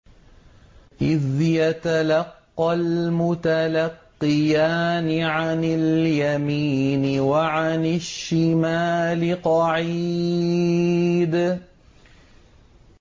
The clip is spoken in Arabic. إِذْ يَتَلَقَّى الْمُتَلَقِّيَانِ عَنِ الْيَمِينِ وَعَنِ الشِّمَالِ قَعِيدٌ